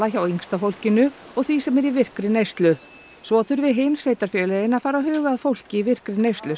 hjá yngsta fólkinu og því sem er í virkri neyslu svo þurfi hin sveitarfélögin að fara að huga að fólki í virkri neyslu